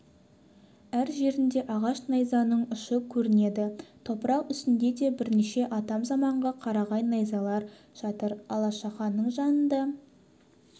әр жерінде ағаш найзаның ұшы көрінеді топырақ үстінде де бірнеше атам-заманғы қарағай найзалар жатыр алашаханның жанында